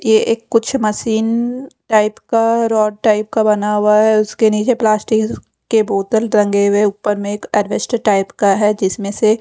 ये एक कुछ मशीन टाइप का रॉड टाइप का बना हुआ है उसके नीचे प्लास्टिक के बोतल टंगे हुए ऊपर में एक टाइप का है जिसमें से--